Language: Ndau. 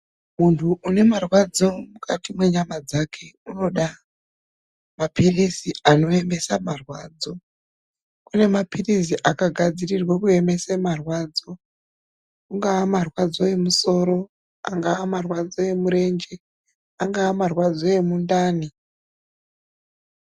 Munthu une marwadzo mukati mwenyama dzake unoda mapilizi anoemese marwadzo. Kune mapilizi akagadzirwe kuemese marwadzo .Kungaa mutombo wakagadziirwa kuemesa marwadzo, angaa marwadzo emusoro, angaa marwadzo emurenje, angaa marwadzo emundani.